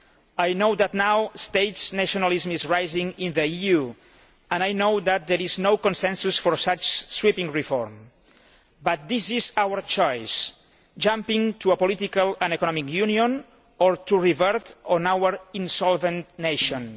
I know that state nationalism is now rising in the EU and I know that there is no consensus for such sweeping reform, but this is our choice jumping to a political and economic union or reverting to our insolvent nations.